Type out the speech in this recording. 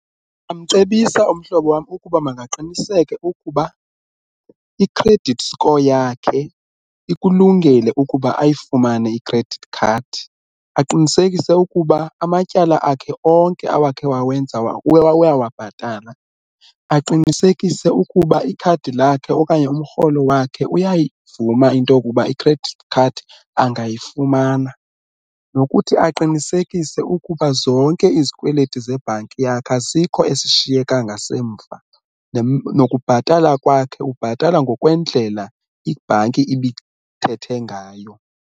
Ndingamcebisa umhlobo wam ukuba makaqiniseke ukuba i-credit score yakhe ikulungele ukuba ayifumane i-credit card, aqinisekise ukuba amatyala akhe onke awakhe wawenza uyawabhatala, aqinisekise ukuba ikhadi lakhe okanye umrholo wakhe uyayivuma into yokuba i-credit card angayifumana. Nokuthi aqinisekise ukuba zonke izikweleti zebhanki yakhe asikho esishiyeka ngasemva nokubhatala kwakhe ubhatala ngokwendlela ibhanki ibithethe ngayo.